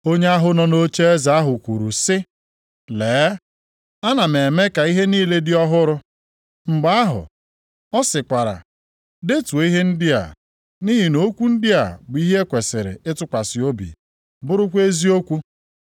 Onye ahụ nọ nʼocheeze ahụ kwuru sị, “Lee, ana m eme ka ihe niile dị ọhụrụ.” Mgbe ahụ, ọ sịkwara, “Detuo ihe ndị a, nʼihi na okwu ndị a bụ ihe e kwesiri ịtụkwasị obi, bụrụkwa eziokwu.”